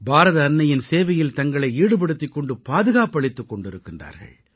பாரத அன்னையின் சேவையில் தங்களை ஈடுபடுத்திக் கொண்டு பாதுகாப்பளித்துக் கொண்டிருக்கின்றார்கள்